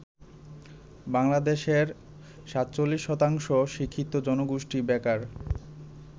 বাংলাদেশের ৪৭ শতাংশ শিক্ষিত জনগোষ্ঠী বেকার।